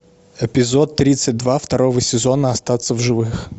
эпизод тридцать два второго сезона остаться в живых